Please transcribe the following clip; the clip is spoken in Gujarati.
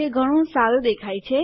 તે ઘણું સારું દેખાય છે